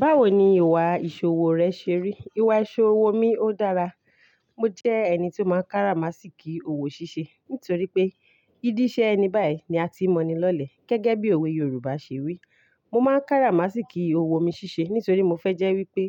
Báwo ni ìwà ìṣòwò rẹ ṣe rí? Ìwà ìṣòwò mi ó dára. Mo jẹ́ ẹni tí ó máa ń kára má sì kí òwò ṣiṣẹ́ nítorí pé "í díṣẹ́ ẹni báyìí ni a ti mọ̀ni lọ́lẹ̀" gẹ́gẹ́ bí òwe Yorùbá ṣe wí. Mo máa ń káramásìkí owó mi ṣiṣẹ́ nítorí mo fẹ́ jẹ́ wípé